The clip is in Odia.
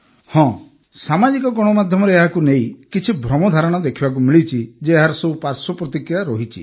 ହଁ ସାମାଜିକ ଗଣମାଧ୍ୟମରେ ଏହାକୁ ନେଇ କିଛି ଭ୍ରମଧାରଣା ଦେଖିବାକୁ ମିଳିଛି ଯେ ଏହାର ଏ ସବୁ ପାର୍ଶ୍ବ ପ୍ରତିକ୍ରିୟା ରହିଛି